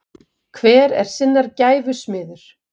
hver er sinnar gæfu smiður